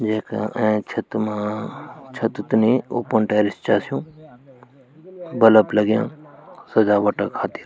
येका एंच छत मा छत त नि ओपन टैरिस चा स्यूं बलब लग्यां सजावटा खातिर।